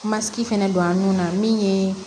Masigi fɛnɛ don an nun na min ye